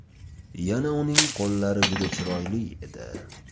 Yana uning qo‘llari juda chiroyli edi.